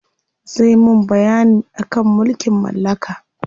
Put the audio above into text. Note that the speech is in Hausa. Zai mun bayyani akan mulkin mallaka.